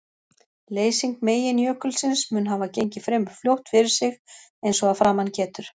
Leysing meginjökulsins mun hafa gengið fremur fljótt fyrir sig eins og að framan getur.